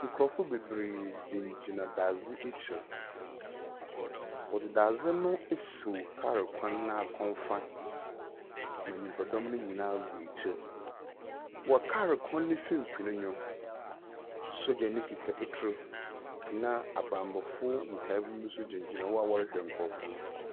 Nkurɔfo bebree gyingyina dadze ekyir, wɔdze dadze no esiw kaar kwan n'akomfa ma nyimpadɔm no nyinaa gu ekyir. Wɔ kaar kwan no mfimfin no, sogyani kita etuw, na abambɔfo nkae bi nso gyingyina hɔ a wɔrehwɛ nkurɔfo no.